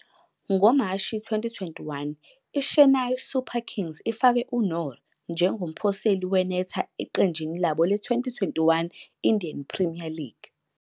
NgoMashi 2021, iChennai Super Kings ifake uNoor njengomphoseli wenetha eqenjini labo le- 2021 Indian Premier League.